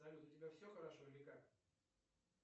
салют у тебя все хорошо или как